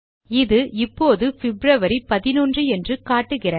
இது இப்போது பிப்ரவரி 11 என்று காட்டுகிறது